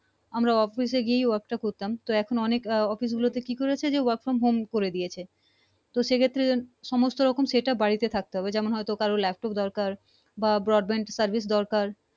আমরা office এ গিয়ে work টা করতাম তো অনেক office গুলো তে কি করেছে work from home করে দিয়েছে তো সে ক্ষেত্রে সমস্ত রকম setup বাড়িতে থাকতে হবে যেমন হয়তো laptop দরকার বা broadband service দরকার